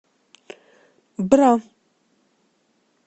бра